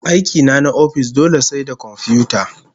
Aiki na na ofis dole sai da komfiyuta